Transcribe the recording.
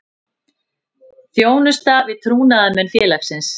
Þjónusta við trúnaðarmenn félagsins.